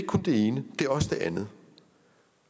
kun det ene det er også det andet